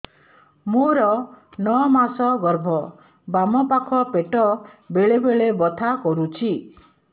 ମୋର ନଅ ମାସ ଗର୍ଭ ବାମ ପାଖ ପେଟ ବେଳେ ବେଳେ ବଥା କରୁଛି